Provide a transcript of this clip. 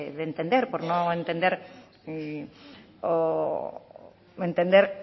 de entender por no entender o entender